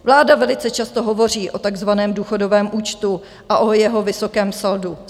Vláda velice často hovoří o takzvaném důchodovém účtu a o jeho vysokém saldu.